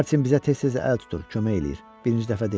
Martin bizə tez-tez əl tutur, kömək eləyir.